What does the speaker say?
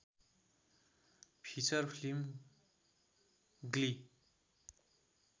feature film Glee